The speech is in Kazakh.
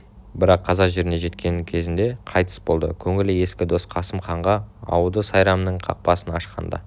бірақ қазақ жеріне жеткен кезінде қайтыс болды көңілі ескі дос қасым ханға ауды сайрамның қақпасын ашқанда